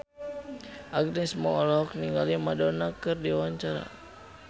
Agnes Mo olohok ningali Madonna keur diwawancara